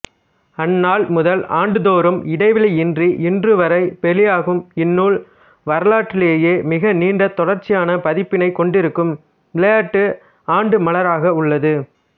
அந்நாள் முதல் ஆண்டுதோறும் இடைவெளியின்றி இன்றுவரை வெளியாகும் இந்நூல் வரலாற்றிலேயே மிகநீண்ட தொடர்ச்சியான பதிப்பினைக் கொண்டிருக்கும் விளையாட்டு ஆண்டுமலராக உள்ளது